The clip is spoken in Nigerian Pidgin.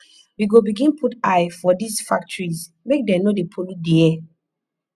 we go begin put eye for dese factories make dem no dey pollute di air